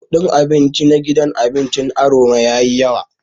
Kudin abinci na gidan abincin Aroma yayi yawa.